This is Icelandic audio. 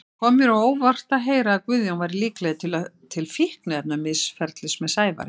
Það kom mér á óvart að heyra að Guðjón væri líklegur til fíkniefnamisferlis með Sævari.